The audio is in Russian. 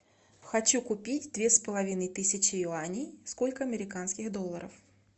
хочу купить две с половиной тысячи юаней сколько американских долларов